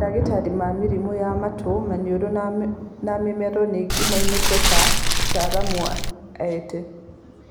Mandagĩtarĩ ma mĩrimũ ya matũ, maniũrũ na mũmero ningĩ moĩkaine ta ataaramu a ent